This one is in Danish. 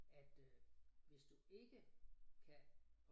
At øh hvis du ikke kan